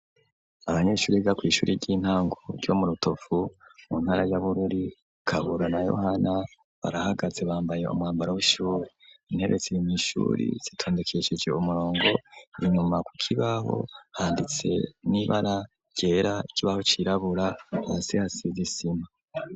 Abanyeshure biga kw’ishuri ry'intango ryo mu rutovu mu ntara ya bururi, kabura na yohana barahagaze bambaye umwambaro w'ishuri, intebe ziri mw’ ishuri zitondekesheje umurongo ,inyuma ku kibaho handitse n'ibara ryera, ikibaho cirabura ,hasi hasize isima.